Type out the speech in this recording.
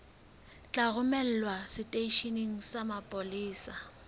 tla romelwa seteisheneng sa mapolesa